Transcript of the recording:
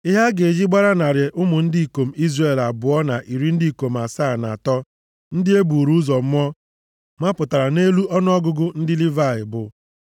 Ihe a ga-eji gbara narị ụmụ ndị ikom Izrel abụọ na iri ndị ikom asaa, na atọ (273) ndị e buru ụzọ mụọ mapụtara nʼelu ọnụọgụgụ ndị Livayị